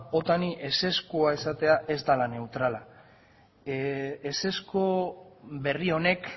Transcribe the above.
otani ezezkoa esatea ez dela neutrala ezezko berri honek